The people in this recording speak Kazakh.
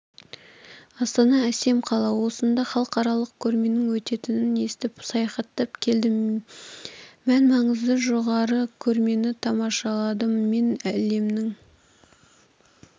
астана әсем қала осында халықаралық көрменің өтетінін естіп саяхаттап келдім мән-маңызы жоғары көрмені тамашаладым мен әлемнің